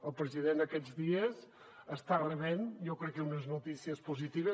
el president aquests dies està rebent jo crec que unes notícies positives